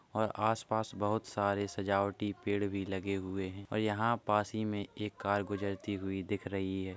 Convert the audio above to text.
और आसपास बोहोत सारे सजावटी पेड़ भी लगे हुए हैं ओर यहाँ पास ही में एक कार गुजरती हुई दिख रही है |